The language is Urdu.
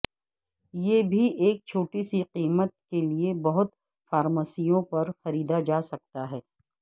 یہ بھی ایک چھوٹی سی قیمت کے لئے بہت فارمیسیوں پر خریدا جا سکتا ہے